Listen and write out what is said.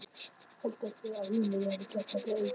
Heldur einhver í alvörunni að ég hafi gert þetta einn?